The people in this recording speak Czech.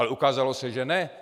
Ale ukázalo se, že ne.